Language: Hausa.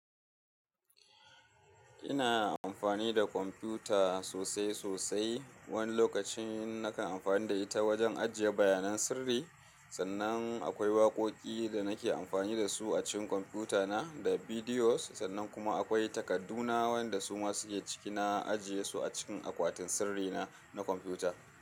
Ina amfani da kwamfuta sosai sosai. Wani lokacin nakan amfani da ita wajen ajiye bayanan sirri. Sannan akwai waƙoƙi da nake amfani da su a cikin kwamfutana da bidiyos. Sannan kuma akwai takadduna waɗanda su ma suke cikina ajiye su a cikin akwatin sirrina na kwamfuta.